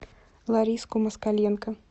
лариску москаленко